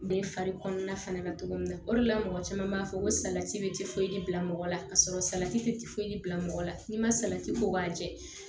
Den fari kɔnɔna fana la cogo min na o de la mɔgɔ caman b'a fɔ ko salati bɛ tifoyidi bila mɔgɔ la ka sɔrɔ salati tɛ foyi bila mɔgɔ la n'i ma salati ko k'a jɛ